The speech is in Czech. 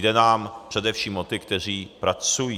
Jde nám především o ty, kteří pracují.